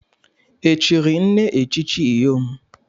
Echiri nne echichi Iyom?